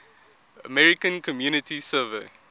american community survey